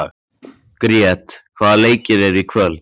Grét, hvaða leikir eru í kvöld?